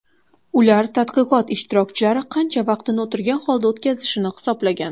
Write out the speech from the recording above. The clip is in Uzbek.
Ular tadqiqot ishtirokchilari qancha vaqtini o‘tirgan holda o‘tkazishini hisoblagan.